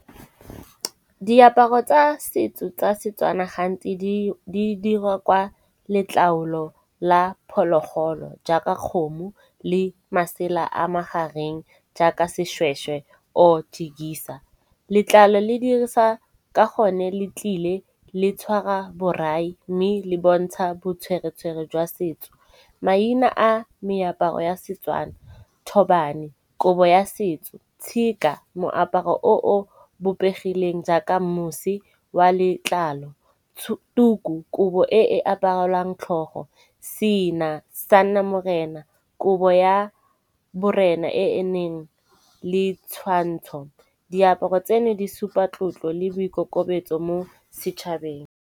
Diaparo tsa setso tsa setswana gantsi di dirwa ka letlalo la phologolo jaaka kgomo le masela a magareng jaaka seshweshwe or jekisa. Letlalo le dirisa ka gone le tlile le tshwara borai mme le bontsha botshweretshwere jwa setso. Maina a meaparo ya setswana thobane, kobo ya setso, tshika, moaparo o o bopegileng jaaka mose wa letlalo, tuku kobo e e aparelwang tlhogo, Sena, sanamorena, kobo ya borena e e neng le tshwantsho, diaparo tseno di supa tlotlo le boikokobetso mo setšhabeng.